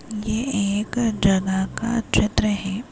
ये एक जगह का क्षेत्र है।